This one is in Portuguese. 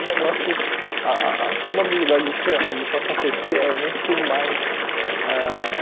O negócio, ah ah a probabilidade disso disso acontecer é muito mais ãh